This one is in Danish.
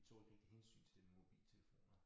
Vi tog et enkelt hensyn til det med mobiltelefoner